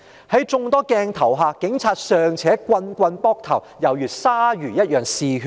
在眾多鏡頭下，警察尚且連番棒打被捕者頭部，猶如鯊魚般嗜血。